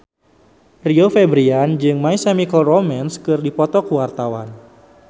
Rio Febrian jeung My Chemical Romance keur dipoto ku wartawan